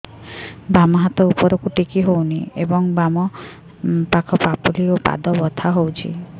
ବାମ ହାତ ଉପରକୁ ଟେକି ହଉନି ଏବଂ ବାମ ପାଖ ପାପୁଲି ଓ ପାଦ ବଥା ହଉଚି